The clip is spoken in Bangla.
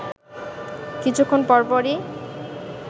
কিছুক্ষণ পরপরই